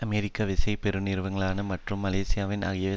அமெரிக்க விசைப் பெருநிறுவனங்களான மற்றும் மலேசியாவின் ஆகியவை